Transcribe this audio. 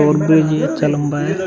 और ब्रिज ये अच्छा लंबा है ।